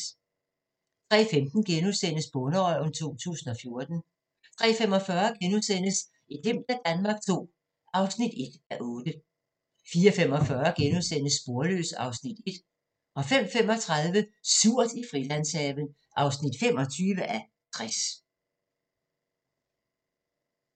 03:15: Bonderøven 2014 * 03:45: Et glimt af Danmark II (1:8)* 04:45: Sporløs (Afs. 1)* 05:35: Surt i Frilandshaven (25:60)